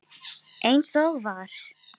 Eins og var.